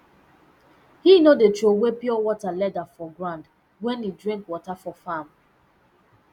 he no dey trowey pure water leather for ground wen he drink water for farm